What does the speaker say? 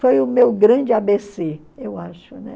Foi o meu grande a bê cê, eu acho, né?